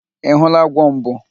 Ị hụla agwọ mbụ?